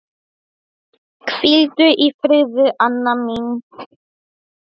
Ég er sammála afa.